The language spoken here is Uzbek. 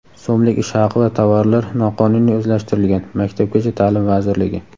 so‘mlik ish haqi va tovarlar noqonuniy o‘zlashtirilgan — Maktabgacha ta’lim vazirligi.